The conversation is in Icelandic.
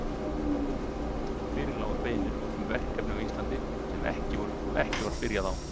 Fyrir lágu beiðnir um verkefni á Íslandi, sem ekki var byrjað á.